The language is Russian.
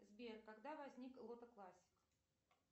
сбер когда возник лото классик